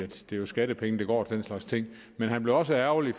det er jo skattepenge der går til den slags ting men han blev også ærgerlig